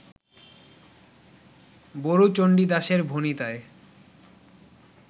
বড়ুচণ্ডীদাসের ভণিতায়